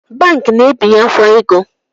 Banki na-ebenyekwa ego